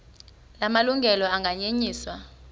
la malungelo anganyenyiswa